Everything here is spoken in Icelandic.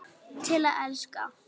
Til að elska.